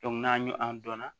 n'an y'o an dɔnna